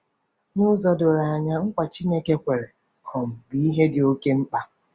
N'ụzọ doro anya, nkwa Chineke kwere um bụ ihe dị oké mkpa.